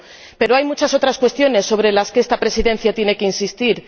Pero hay muchas otras cuestiones sobre las que esta Presidencia tiene que insistir.